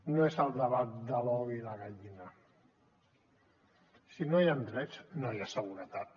no és el debat de l’ou i la gallina si no hi han drets no hi ha seguretat